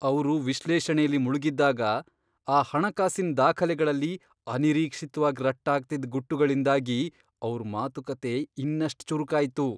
ಅವ್ರು ವಿಶ್ಲೇಷಣೆಲಿ ಮುಳ್ಗಿದ್ದಾಗ, ಆ ಹಣಕಾಸಿನ್ ದಾಖಲೆಗಳಲ್ಲಿ ಅನಿರೀಕ್ಷಿತ್ವಾಗ್ ರಟ್ಟಾಗ್ತಿದ್ ಗುಟ್ಟುಗಳಿಂದಾಗಿ ಅವ್ರ್ ಮಾತುಕತೆ ಇನ್ನಷ್ಟ್ ಚುರುಕಾಯ್ತು.